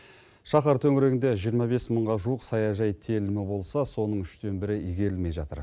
шаһар төңірегінде жиырма бес мыңға жуық саяжай телімі болса соның үштен бірі игерілмей жатыр